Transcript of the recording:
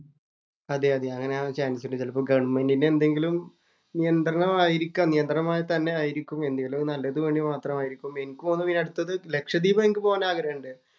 അതെയതെ. അങ്ങനെ ആവാന്‍ ചാന്‍സ് ഉണ്ട്. ചെലപ്പോ ഗവണ്മെന്‍റിന്‍റെ എന്തെങ്കിലും നിയന്ത്രണമായിരിക്കാം. എന്തേലോ നല്ലതിന് വേണ്ടി മാത്രമായിരിക്കും എനിക്ക് തോന്നുന്നത് ഇനി അടുത്തത് ലക്ഷദ്വീപ്‌ എനിക്ക് പോകാന്‍ ആഗ്രഹണ്ട്.